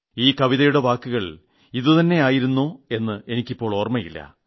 ഈ കവിതയുടെ വാക്കുകൾ ഇത് തന്നെയായിരുന്നോ എന്ന് എനിക്ക് ഇപ്പോൾ ഓർമ്മയില്ല